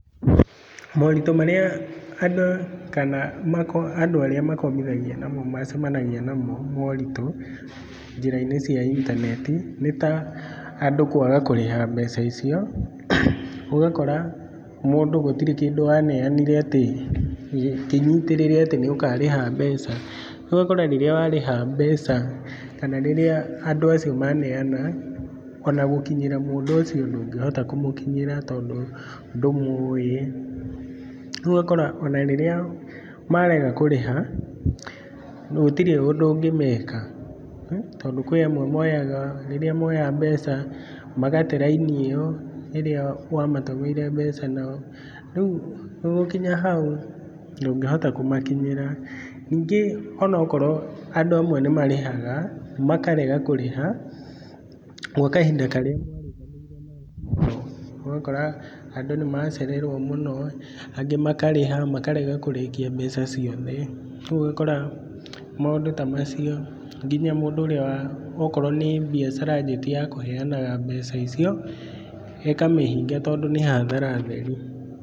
Moritũ marĩa andũ kana andũ arĩa makombithagia namo macemanagia namo, moritũ njĩra-inĩ cia intaneti, nĩ ta, andũ kwaga kũrĩha mbeca. Ũgakora mũndũ gũtirĩ kĩndũ aneanire atĩ kĩnyitĩrĩre atĩ nĩ ũkarĩha mbeca. Rĩu ũgakora rĩrĩa warĩha mbeca kana rĩrĩa andũ acio maneana ona gũkinyĩra mũndũ ũcio ndũngĩhota kũmũkinyĩra tondũ ndũmũĩ. Rĩu ũgakora ona rĩrĩa marega kũrĩha gũtirĩ ũndũ ũngĩmeka. Tondũ kwĩ amwe moyaga rĩrĩa moya mbeca, magate rainĩ ĩyo ĩrĩa wamatũmĩire mbeca nayo. Rĩu ũgũkinya hau ndũngĩhota kũmakinyĩra. Ningĩ onokorwo andũ amwe nĩ marĩhaga, makarega kũrĩha gwa kahinda karĩa mwarĩkanĩire nao. Ũgakora andũ nĩ macererwo mũno, angĩ makarĩha makarega kũrĩkia mbeca ciothe. Rĩu ũgakora maũndũ ta macio nginya mũndũ ũrĩa wa okorwo nĩ biacara anjĩtie ya kũheanaga mbeca icio ĩkamĩhinga tondũ nĩ hathara theri.